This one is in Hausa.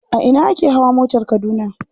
A ina ake hawa motar Kaduna.